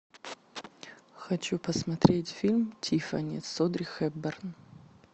хочу посмотреть фильм тиффани с одри хепберн